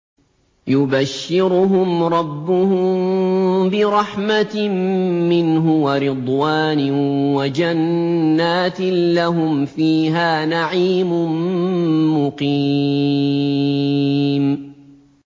يُبَشِّرُهُمْ رَبُّهُم بِرَحْمَةٍ مِّنْهُ وَرِضْوَانٍ وَجَنَّاتٍ لَّهُمْ فِيهَا نَعِيمٌ مُّقِيمٌ